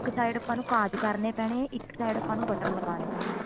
ਇੱਕ side ਆਪਾਂ ਨੂੰ ਕਾਜ ਕਰਨੇ ਪੈਣੇ ਇੱਕ side ਆਪਾਂ ਨੂੰ button ਲਗਾਨੇ ਪੈਣੇ ਐ